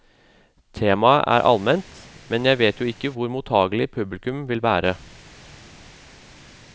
Temaet er alment, men jeg vet jo ikke hvor mottagelig publikum vil være.